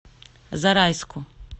зарайску